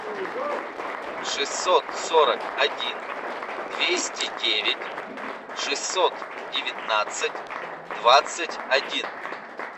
шестьсот сорок один двести девять шестьсот девятнадцать двадцать один